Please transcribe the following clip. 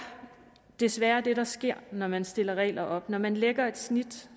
desværre det der sker når man stiller regler op når man lægger et snit